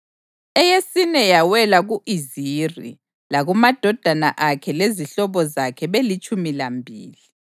eyesine yawela ku-Iziri, lakumadodana akhe lezihlobo zakhe belitshumi lambili;